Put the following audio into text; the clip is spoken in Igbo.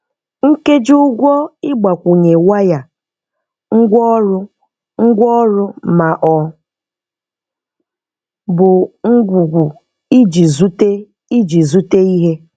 Nkèjí-ụ̀gwọ ị̀gbakwụnye wáyà, ngwáọrụ, ngwàọrụ, ma ọ bụ ngwùgwù íji zùte íji zùte ihe